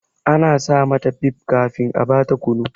Ana sa mata bib kafin a ba ta kunu.